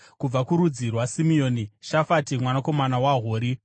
kubva kurudzi rwaSimeoni, Shafati mwanakomana waHori;